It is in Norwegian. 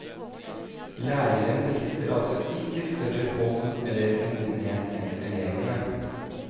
Læreren besitter altså ikke større hold eller modenhet enn elevene.